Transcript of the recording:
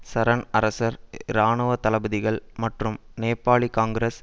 சரன் அரசர் இராணுவ தளபதிகள் மற்றும் நேபாளி காங்கிரஸ்